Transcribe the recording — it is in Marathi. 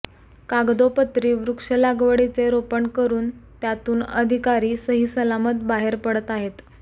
कागदोपत्री वृक्षलागवडीचे रोपण करून त्यातून अधिकारी सहीसलामत बाहेर पडत आहेत